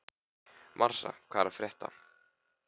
Marsa, hvað er að frétta?